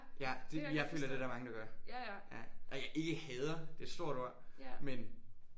Ja det jeg føler det der mange der gør. Ja ej ikke hader det er et stort ord men